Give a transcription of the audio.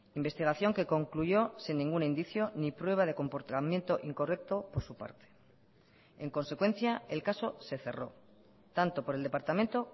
investigación que concluyó sin ningún indicio ni prueba de comportamiento incorrecto por su parte en consecuencia el caso se cerró tanto por el departamento